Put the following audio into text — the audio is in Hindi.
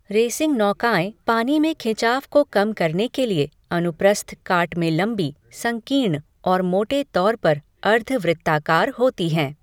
रेसिंग नौकाएं पानी में खिंचाव को कम करने के लिए अनुप्रस्थ काट में लंबी, संकीर्ण और मोटे तौर पर अर्ध वृत्ताकार होती हैं।